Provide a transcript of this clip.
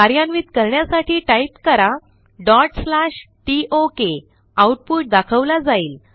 कार्यान्वित करण्यासाठी टाईप करा tok आऊटपुट दाखवला जाईल